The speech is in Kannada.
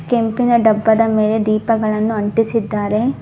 ಕೆಂಪಿನ ಡಬ್ಬದ ಮೇಲೆ ದೀಪಗಳನ್ನು ಅಂಟಿಸಿದ್ದಾರೆ